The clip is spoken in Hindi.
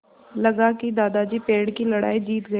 लगा कि दादाजी पेड़ की लड़ाई जीत गए